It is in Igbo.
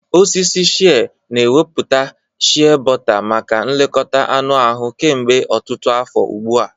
Osisi shịẹ́ na ewepụta shịẹ́bọta maka nlekọta anụ ahụ kemgbe ọtụtụ afọ ugbu a.